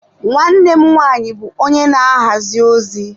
Nwanne m nwaanyị bụ onye na-ahazi ozi.